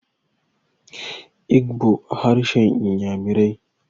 Igbo harshen inyamirai